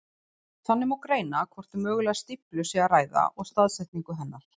Þannig má greina hvort um mögulega stíflu sé að ræða og staðsetningu hennar.